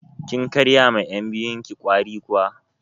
Kin karya ma yan' biyun ki ƙwari kuwa?